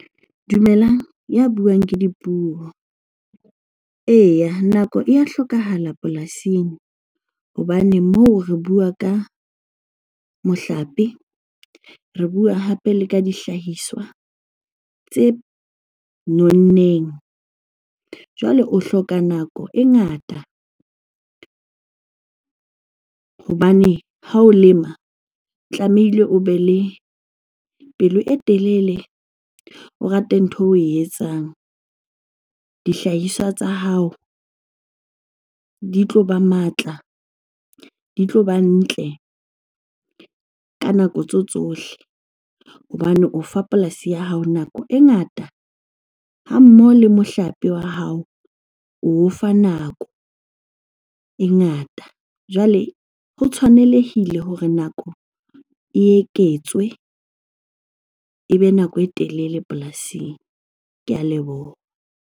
Dumelang, ya buang ke Dipuo. Eya, nako e ya hlokahala polasing hobane moo re bua ka mohlape, re bua hape le ka dihlahiswa tse nonneng. Jwale o hloka nako e ngata hobane ha o lema tlamehile o be le pelo e telele, o rate ntho eo oe etsang. Dihlahiswa tsa hao di tloba matla, di tloba ntle ka nako tso tsohle hobane o fa polasi ya hao nako e ngata, ha mmoho le mohlape wa hao oo fa nako e ngata. Jwale ho tshwanelehile hore nako e eketswe, ebe nako e telele polasing. Ke a leboha.